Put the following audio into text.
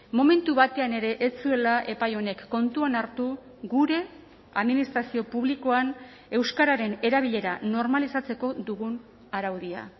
momentu batean ere ez zuela epai honek kontuan hartu gure administrazio publikoan euskararen erabilera normalizatzeko dugun araudia